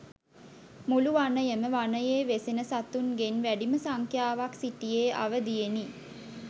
මුළු වනයම වනයේ වෙසෙන සතුන්ගෙන් වැඩිම සංඛ්‍යාවක් සිටියේ අවදියෙනි.